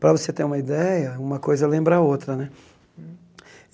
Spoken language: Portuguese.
Para você ter uma ideia, uma coisa lembra a outra né.